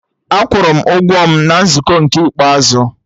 Akwụrụ m ụgwọ m na nzukọ nke ikpeazụ